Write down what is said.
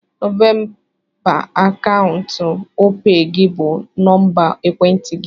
Nọmba akaụntụ Opay gị bụ nọmba ekwentị gị.